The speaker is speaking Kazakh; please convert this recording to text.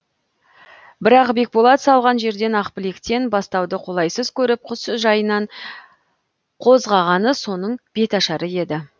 бірақ бекболат салған жерден ақбілектен бастауды қолайсыз көріп құс жайынан қозғағаны соның беташары еді